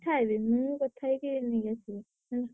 ~କଥା ହେବି ମୁଁ କଥା ହେଇକି ନେଇଆସିବି ।